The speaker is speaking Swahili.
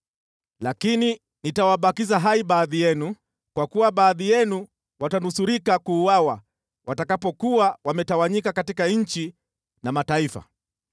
“ ‘Lakini nitawabakiza hai baadhi yenu, kwa kuwa baadhi yenu watanusurika kuuawa watakapokuwa wametawanyika katika nchi na mataifa.